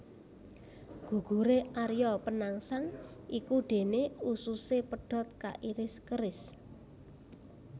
Guguré Arya Penangsang iku déné ususé pedhot kairis keris